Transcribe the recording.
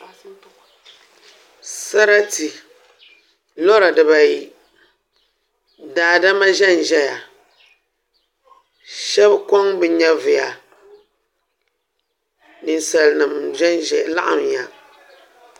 Sarati lora dibayi daadama ʒɛnʒɛya shab koŋ bi nyɛvuya ninsal nim laɣamya